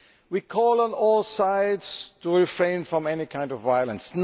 We call on all sides to refrain from any kind of violence.